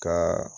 Ka